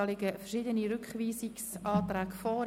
Dazu liegen verschiedene Rückweisungsanträge vor.